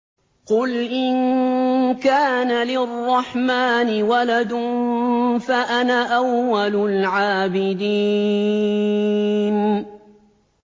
قُلْ إِن كَانَ لِلرَّحْمَٰنِ وَلَدٌ فَأَنَا أَوَّلُ الْعَابِدِينَ